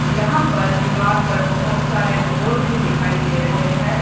यहां पर दीवार पर बहोत सारे बोर्ड भी दिखाई दे रहे हैं।